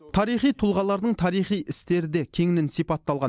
тарихи тұлғалардың тарихи істері де кеңінен сипатталған